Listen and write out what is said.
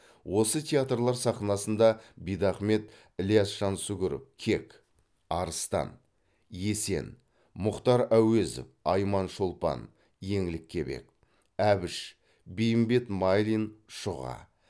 осы театрлар сахнасында бидахмет ілияс жансүгіров кек арыстан есен мұхтар әуезов айман шолпан еңлік кебек әбіш бейімбет майлин шұға